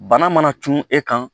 Bana mana tun e kan